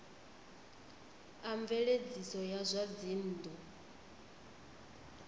a mveledziso ya zwa dzinnu